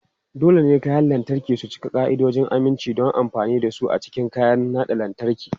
Dole ne kayan lantarki su cika ka'idojin aminci don amfani da su a cikin kayan naɗa lantarki.